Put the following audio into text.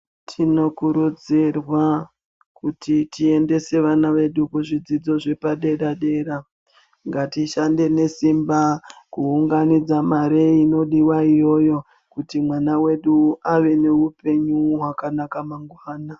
Tinokurudzirwa kuti tiendese vana vedu kuzvikora zvepadera dera. Ngatishandei nesimba kuti tiunganidze mare inodiwa iyoyo kuti mwana wedu ave neupenyu hwakanaka mangwana.